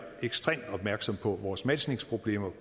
ekstremt opmærksomme på vores matchningsproblemer